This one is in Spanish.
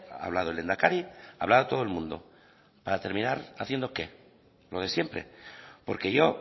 ha hablado el lehendakari hablaba todo el mundo para terminar haciendo qué lo de siempre porque yo